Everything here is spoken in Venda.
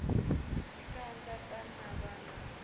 ḽi kanda ḽa navha na